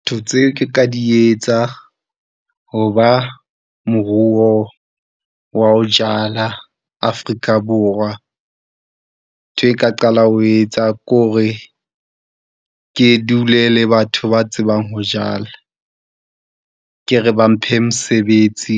Ntho tseo ke ka di etsa hoba moruo wa ho jala Afrika-Borwa. Ntho e ka qala ho etsa ke hore ke dule le batho ba tsebang ho jala, ke re ba mphe mosebetsi.